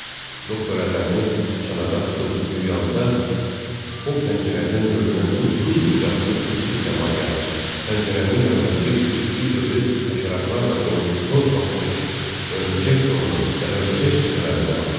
Doktor əllərini çanağa tutub yuyanda o pəncərədən görünən uçsuz-bucaqsız açıq səmaya, pəncərənin yanındakı üstü ölü həşəratlarla dolu, toz basmış hörümçək toruna və hörümçək süfrələrinə baxdı.